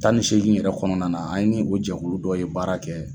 Tan ni segin yɛrɛ kɔnɔna na, an ni o jɛkulu dɔ ye baara kɛ.